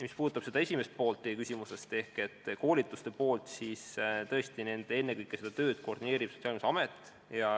Mis puudutab teie küsimuse esimest poolt ehk koolitust, siis seda tööd koordineerib ennekõike Sotsiaalkindlustusamet.